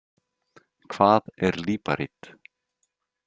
Hvað er líparít?